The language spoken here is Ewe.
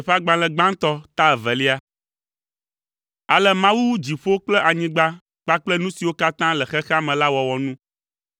Ale Mawu wu dziƒo kple anyigba kpakple nu siwo katã le xexea me la wɔwɔ nu.